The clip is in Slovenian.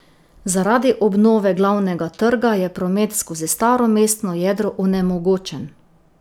Zaradi obnove Glavnega trga je promet skozi staro mestno jedro onemogočen.